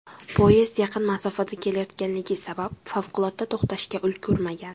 Poyezd yaqin masofada kelayotgangani sabab favqulodda to‘xtashga ulgurmagan.